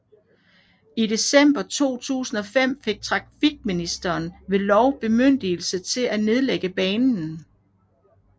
I december 2005 fik trafikministeren ved lov bemyndigelse til at nedlægge banen